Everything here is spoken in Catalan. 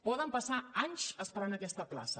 poden passar anys esperant aquesta plaça